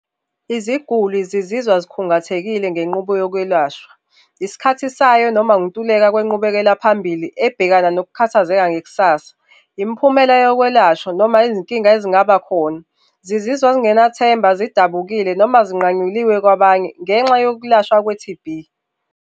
Iziguli zizizwa zikhungathekile ngenqubo yokwelashwa, isikhathi sayo noma ukuntuleka kwenqubekela phambili ebhekana nokukhathazeka ngekusasa, imiphumela yokwelashwa noma izinkinga ezingaba khona. Zizizwa zingenathemba zidabukile noma zinqanyuliwe kwabanye ngenxa yokulashwa kwe-T_B.